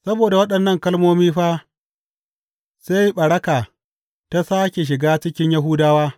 Saboda waɗannan kalmomi fa, sai ɓaraka ta sāke shiga cikin Yahudawa.